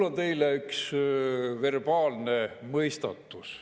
Mul on teile üks verbaalne mõistatus.